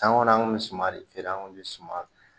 San kɔnɔ an kun bɛ suman de feere an kun bɛ suma